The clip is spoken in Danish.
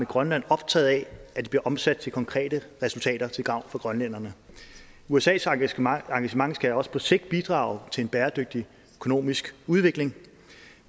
grønland optaget af at det bliver omsat til konkrete resultater til gavn for grønlænderne usas engagement engagement skal også på sigt bidrage til en bæredygtig økonomisk udvikling